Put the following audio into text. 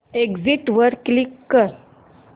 exit वर click कर